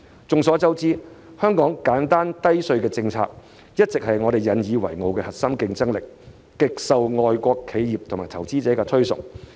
眾所周知，香港奉行簡單低稅政策，這一直是我們引以為傲的核心競爭力，極受外國企業及投資者的推崇。